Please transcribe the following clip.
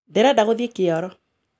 Ndĩrenda gũthiĩ kĩoro.